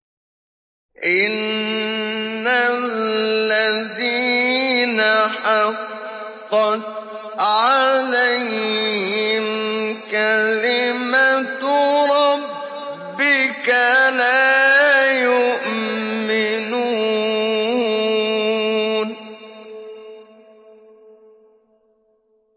إِنَّ الَّذِينَ حَقَّتْ عَلَيْهِمْ كَلِمَتُ رَبِّكَ لَا يُؤْمِنُونَ